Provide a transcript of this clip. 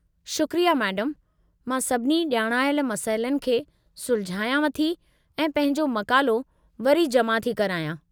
शुक्रिया मैडमु। मां सभिनी ॼाणायल मसइलनि खे सुलझायांव थी ऐं पंहिंजो मक़ालो वरी जमा थी करायां।